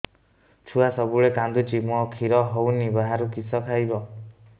ଛୁଆ ସବୁବେଳେ କାନ୍ଦୁଚି ମା ଖିର ହଉନି ବାହାରୁ କିଷ ଖାଇବ